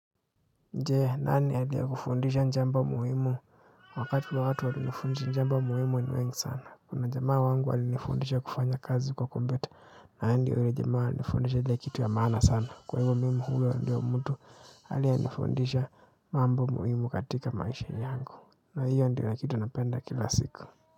Je, nani aliye kufundisha njambo muhimu wakati wa watu walionifundisha jambo muhimu ni wengi sana. Kuna jamaa wangu alinifundisha kufanya kazi kwa kompyuta yani ule jamaa nifundisha ile kitu ya maana sana. Kwa hivyo mimi huyo ndiyo mtu aliye nifundisha mambo muhimu katika maisha yangu. Na hiyo ndio kitu napenda kila siku.